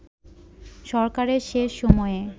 সরকারের শেষ সময়ে